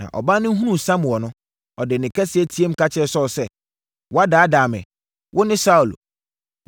Na ɔbaa no hunuu Samuel no, ɔde nne kɛseɛ teaam ka kyerɛɛ Saulo sɛ, “woadaadaa me! Wone Saulo!”